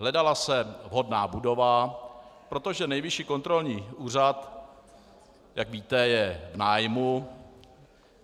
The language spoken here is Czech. Hledala se vhodná budova, protože Nejvyšší kontrolní úřad, jak víte, je v nájmu.